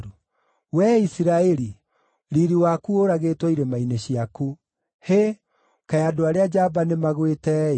“Wee Isiraeli, riiri waku ũũragĩtwo irĩma-inĩ ciaku. Hĩ, kaĩ andũ arĩa njamba nĩmagwĩte-ĩ!